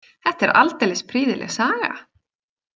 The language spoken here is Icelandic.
Þetta er aldeilis prýðileg saga.